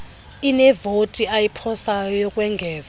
unevoti ayiphosayo ukwengeza